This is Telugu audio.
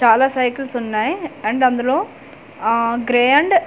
చాలా సైకిల్స్ ఉన్నాయి అండ్ అందులో ఆ గ్రే అండ్ .